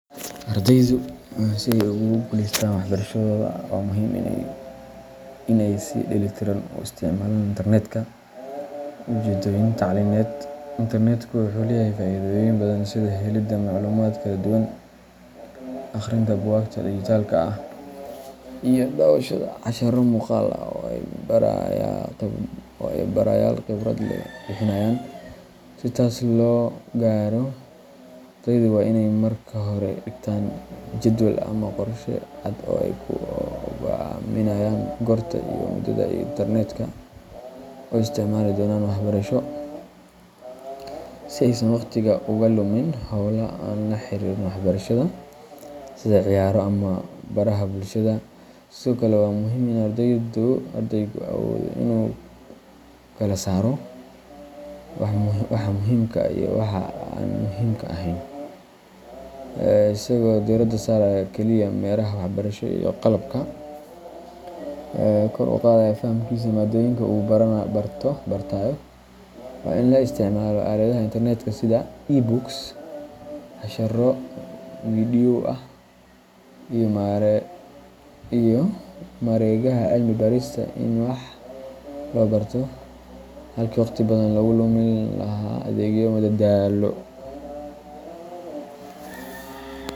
Ardaydu si ay ugu guuleystaan waxbarashadooda, waa muhiim in ay si dheellitiran u isticmaalaan internetka ujeeddooyin tacliimeed. Internetku wuxuu leeyahay faa’iidooyin badan sida helidda macluumaad kala duwan, akhrinta buugaagta dijitaalka ah, iyo daawashada casharro muuqaal ah oo ay barayaal khibrad leh bixinayaan. Si taas loo gaaro, ardaydu waa inay marka hore dhigtaan jadwal ama qorshe cad oo ay ku go'aamiyaan goorta iyo muddada ay internetka u isticmaali doonaan waxbarasho, si aysan waqtiga uga lumin hawlo aan la xiriirin waxbarashada sida ciyaaro ama baraha bulshada. Sidoo kale, waa muhiim in ardaygu awoodo inuu kala saaro waxa muhiimka ah iyo waxa aan muhiimka ahayn, isagoo diiradda saaraya kaliya mareegaha waxbarasho iyo qalabka kor u qaadaya fahamkiisa maadooyinka uu bartayo. Waa in la isticmaalo aaladaha internetka sida e-books, casharro video ah, iyo mareegaha cilmi-baarista si wax loo barto, halkii wakhti badan lagu lumi lahaa adeegyo madadaalo.